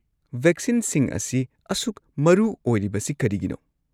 ꯚꯦꯛꯁꯤꯟꯁꯤꯡ ꯑꯁꯤ ꯑꯁꯨꯛ ꯃꯔꯨ ꯑꯣꯏꯔꯤꯕꯁꯤ ꯀꯔꯤꯅꯣ?